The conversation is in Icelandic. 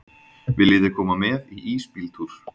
Viljiði koma með í ísbíltúr?